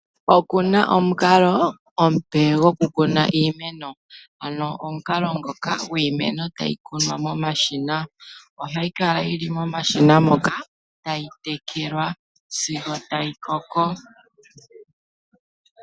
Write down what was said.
Oku na omukalo omupe gwokukuna iimeno ano omukalo ngoka gwiimeno tayi kunwa momashina ohayi kala yi li momashina moka tayi tekelwa sigo tayi koko.